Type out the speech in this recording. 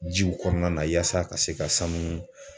Jiw kɔnɔna na yaasa ka se ka sanu